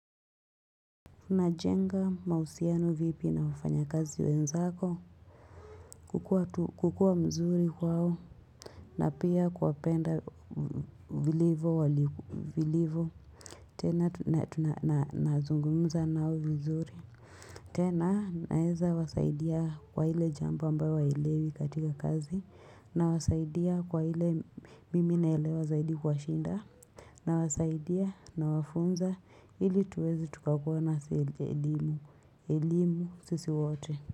Unajenga mahusiano vipi na wafanyakazi wenzako kukua mzuri kwao na pia kuwapenda vilivo wali vilivo tena tuna tuna na nazungumza nao vizuri tena naweza wasaidia kwa ile jambo ambayo hawaelewi katika kazi nawasaidia kwa ile mimi naelewa zaidi kuwashinda Nawasaidia nawafunza ili tuweze tukakua na elimu elimu sisi wote.